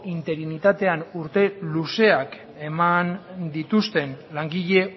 interinitatean urte luzeak eman dituzten langile